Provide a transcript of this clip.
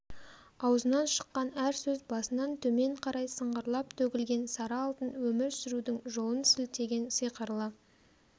аузынан шыққан әр сөз басынан төмен қарай сыңғырлап төгілген сары алтын өмір сүрудің жолын сілтеген сиқырлы